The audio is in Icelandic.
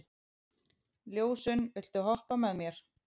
Ljósunn, viltu hoppa með mér?